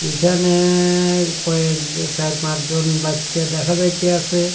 এখানে কয়েকজ চার-পাঁচজন বাচ্চা দেখা যাইতাসে।